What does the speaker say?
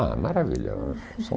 Ah, maravilhoso.